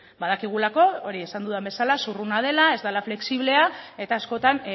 badakigulako hori esan dudan bezala zurruna dela ez dela flexiblea eta askotan